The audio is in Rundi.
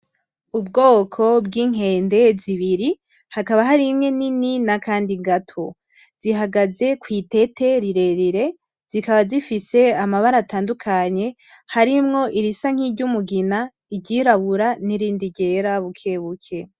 Ubwoko bw'inkende zibiri hakaba hari imwe nini n'akandi gato zihagaze kwitete rirerire zikaba zifise amabara atandukanye harimwo irisa nk'iryumugina ,iryirabura n'irindi ryera bukebuke.